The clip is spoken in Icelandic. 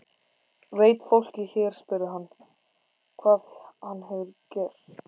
Veit fólkið hér spurði hann, hvað hann hefur gert?